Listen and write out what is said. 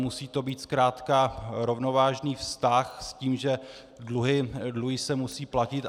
Musí to být zkrátka rovnovážný vztah s tím, že dluhy se musí platit.